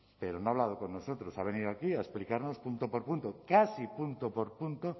pero no ha hablado con nosotros ha venido aquí a explicarnos punto por punto casi punto por punto